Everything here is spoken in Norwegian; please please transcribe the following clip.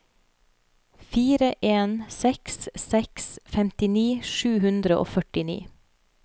fire en seks seks femtini sju hundre og førtini